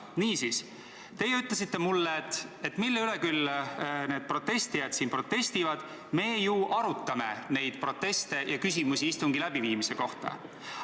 Niisiis, teie küsisite minult, et mille üle need protestijad siin küll protestivad, et me ju arutame neid proteste ja küsimusi, mis istungi läbiviimise kohta on tekkinud.